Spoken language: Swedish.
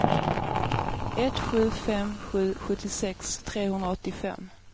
ett sju fem sju sjuttiosex trehundraåttiofem